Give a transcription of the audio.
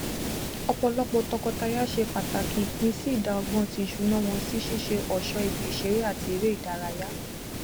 ọpọlọpọ tọkọtaya ṣe pàtàkì ìpín sí ìdá ọgbọn ti ìṣúná wọn si ṣiṣẹ ọṣọ ibi ìṣeré àti eré ìdárayá